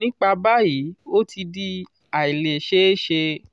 nípa báyìí ó ti di ailesese